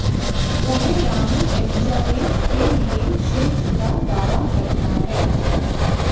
वह रानी एलिजाबेथ के लिए क्षेत्र का दावा करता है